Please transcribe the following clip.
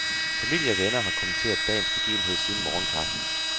Familie og venner har kommenteret dagens begivenhed siden morgenkaffen.